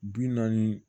Bi naani